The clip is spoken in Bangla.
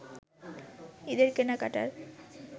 ঈদের কেনাকাটার